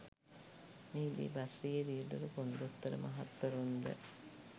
මෙහිදී බස්රියේ රියැදුරු කොන්දොස්තර මහත්වරුන්ද